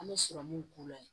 An bɛ sɔrɔmunw k'u la